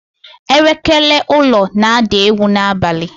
Elekere ụlọ na-ada egwu n'abalị.